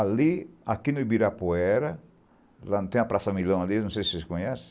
Ali, aqui no Ibirapuera, lá não tem a Praça Milão ali, não sei se vocês conhecem,